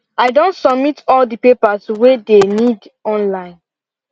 i Accepted submit all the papers way dey need online